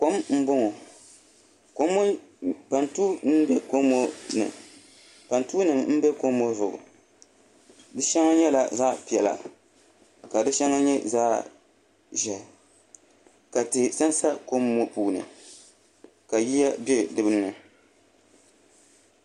Kom n boŋo pantuu nim n bɛ kom ŋo puuni di shɛŋa nyɛla zaɣ piɛla ka di shɛŋa nyɛ zaɣ ʒiɛhi ka tihi sansa kom ŋo puuni ka yiya bɛ dinni